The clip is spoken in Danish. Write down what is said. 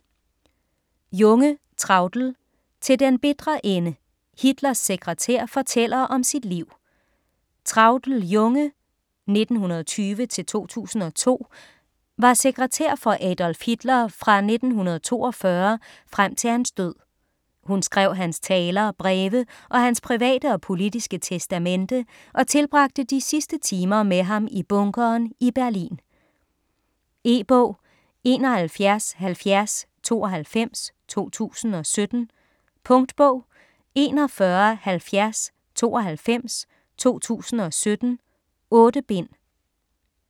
Junge, Traudl: Til den bitre ende: Hitlers sekretær fortæller om sit liv Traudl Junge (1920-2002) var sekretær for Adolf Hitler fra 1942 frem til hans død. Hun skrev hans taler, breve og hans private og politiske testamente og tilbragte de sidste timer med ham i bunkeren i Berlin. E-bog 717092 2017. Punktbog 417092 2017. 8 bind.